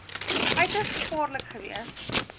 uiters gevaarlik gewees